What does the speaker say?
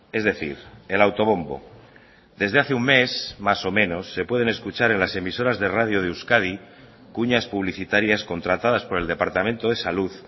es decir el autobombo desde hace un mes más o menos se pueden escuchar en las emisoras de radio de euskadi cuñas publicitarias contratadas por el departamento de salud